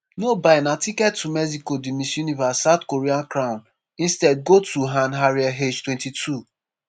no buy na ticket to mexico di miss universe south korea crown instead go to han ariel aged twenty-two